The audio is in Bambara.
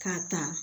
K'a ta